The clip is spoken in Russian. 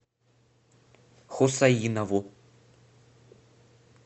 хусаинову